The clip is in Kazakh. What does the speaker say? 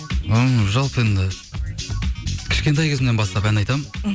м жалпы енді кішкентай кезімнен бастап ән айтамын мхм